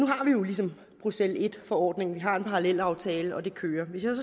jo ligesom bruxelles i forordningen vi har en parallelaftale og det kører hvis jeg